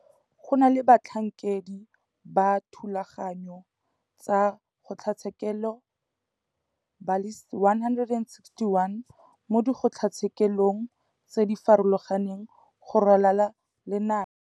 Go na le batlhankedi ba dithulaganyo tsa kgotlatshekelo ba le 161 mo dikgotlatshekelong tse di farologaneng go ralala le naga.